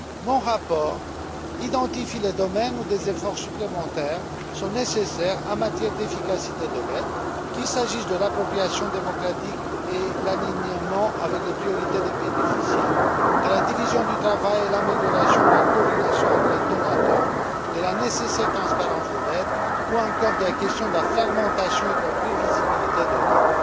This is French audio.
Mon rapport cerne les domaines où des efforts supplémentaires sont nécessaires en matière d'efficacité de l'aide, qu'il s'agisse de l'appropriation démocratique et de l'alignement sur les priorités des bénéficiaires, de la division du travail et de l'amélioration de la coordination entre les donateurs, de la nécessaire transparence de l'aide ou encore de la question de la fragmentation et de la prévisibilité de l'aide.